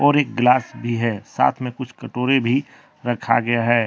और एक गिलास भी है साथ में कुछ कटोरी भी रखा गया है।